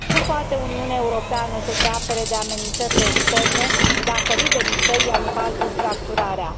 Cum poate Uniunea Europeană să se apere de amenințările externe, dacă liderii săi iau în calcul fracturarea?